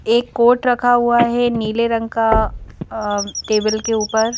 एक कोट रखा हुआ है नीले रंग का अ टेबल के ऊपर।